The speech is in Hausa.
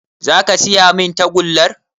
Za ka siya min tagullar?